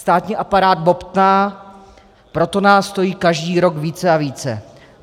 Státní aparát bobtná, proto nás stojí každý rok více a více.